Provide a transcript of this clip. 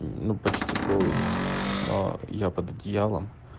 ну почти голые но я под одеялом